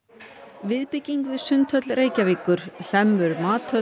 viðbygging við Sundhöll Reykjavíkur Hlemmur